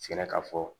Sera ka fɔ